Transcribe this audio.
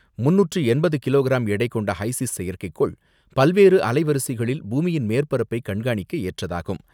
முன்னூற்று எண்பது கிலோகிராம் எடை கொண்ட ஹைசிஸ் செயற்கைக்கோள் பல்வேறு அலைவரிசைகளில் பூமியின் மேற்பரப்பை கண்காணிக்க ஏற்றதாகும்.